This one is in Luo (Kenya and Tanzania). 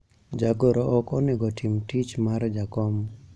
jagoro ok onego tim tich mar jakom